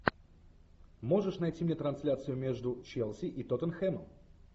можешь найти мне трансляцию между челси и тоттенхэмом